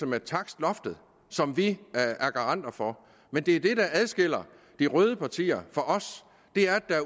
med takstloftet som vi er garanter for men det der adskiller de røde partier fra os er at